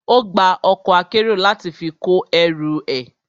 Ó gba ọkọ̀ akérò láti fi kó ẹrù ẹ.